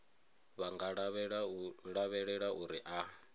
vha nga lavhelela uri a